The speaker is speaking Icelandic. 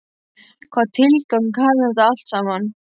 Hvaða tilgang hafði þetta allt saman?